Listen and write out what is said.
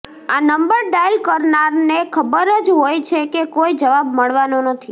આ number dial કરનારને ખબર જ હોય છે કે કોઈ જવાબ મળવાનો નથી